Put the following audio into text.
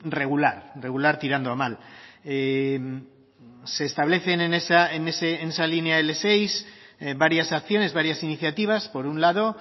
regular regular tirando a mal se establecen en esa línea ele seis varias acciones varias iniciativas por un lado